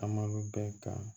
A ma bɛɛ ka